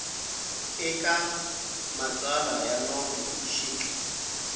eka matsalwa ya nomo xik